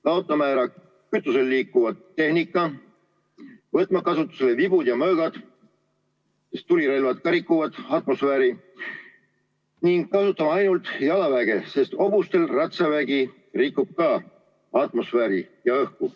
Peame kaotama ära kütusel liikuva tehnika, võtma kasutusele vibud ja mõõgad, sest tulirelvad ka rikuvad atmosfääri, ning kasutama ainult jalaväge, sest hobustel ratsavägi rikub ka atmosfääri ja õhku.